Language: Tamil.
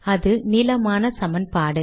அது நீளமான சமன்பாடு